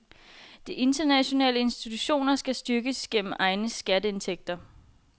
De internationale institutioner skal styrkes gennem egne skatteindtægter.